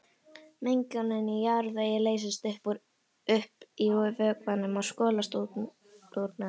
Mengun í jarðvegi leysist upp í vökvanum og skolast úr með honum.